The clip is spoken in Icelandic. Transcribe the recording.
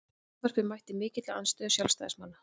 Frumvarpið mætti mikilli andstöðu sjálfstæðismanna